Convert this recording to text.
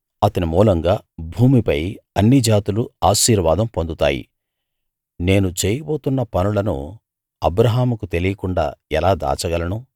అతని మూలంగా భూమిపై అన్ని జాతులూ ఆశీర్వాదం పొందుతాయి నేను చేయబోతున్న పనులను అబ్రాహాముకు తెలియకుండా ఎలా దాచగలను